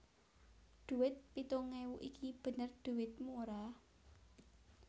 Dhuwit pitung ewu iki bener dhuwitmu ora